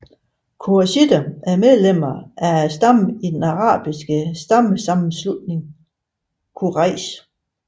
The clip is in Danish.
Qurayshitter er medlemmer af stammer i den arabiske stammesammenslutning Quraysh